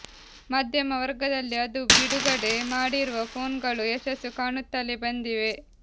ಮಧ್ಯಮ ವರ್ಗದಲ್ಲಿ ಅದು ಬಿಡುಗಡೆ ಮಾಡಿರುವ ಫೋನ್ಗಳು ಯಶಸ್ಸು ಕಾಣುತ್ತಲೇ ಬಂದಿವೆ